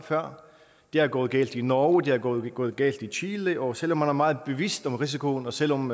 før det er gået galt i norge det er gået gået galt i chile og selv om man er meget bevidst om risikoen og selv om